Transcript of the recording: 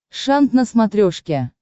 шант на смотрешке